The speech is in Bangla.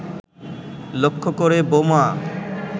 লক্ষ্য করে বোমা